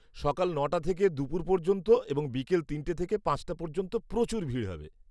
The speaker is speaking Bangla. সকাল ন'টা থেকে দুপুর পর্যন্ত, এবং বিকেল তিনটে থেকে পাঁচটা পর্যন্ত প্রচুর ভিড় হবে।